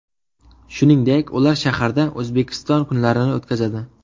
Shuningdek, ular shaharda O‘zbekiston kunlarini o‘tkazadi.